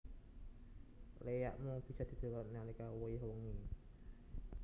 Léak mung bisa didelok nalika wayah wengi